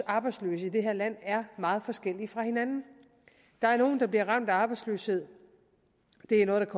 arbejdsløse i det her land er meget forskellige der er nogle der bliver ramt af arbejdsløshed det er noget der